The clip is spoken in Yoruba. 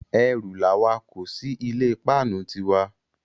Erù làwa kó sí ilé páánu ti wa.